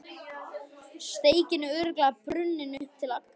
Steikin er örugglega brunnin upp til agna.